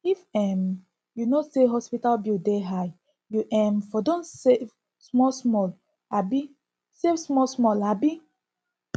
if um you know sey hospital bill dey high you um for don save smallsmall abi save smallsmall abi